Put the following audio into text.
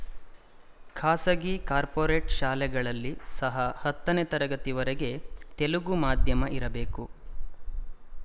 ಖಾಸಗಿಕಾರ್ಪೊರೇಟ್ ಶಾಲೆಗಳಲ್ಲಿ ಸಹ ಹತ್ತನೆ ತರಗತಿವರೆಗೆ ತೆಲುಗು ಮಾಧ್ಯಮ ಇರಬೇಕು